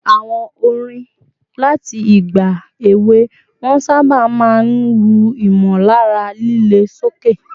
Àwọn orin láti ìgbà èwe wọn sábà máa ń ru ìmọ̀lára líle sókè